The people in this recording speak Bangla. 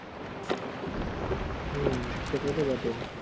হুম সেটা তো বটেই